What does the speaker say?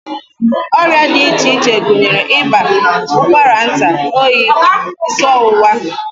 Ọrịa dị iche iche gụnyere ịba, ụkwara nta, oyi, isi ọwụwa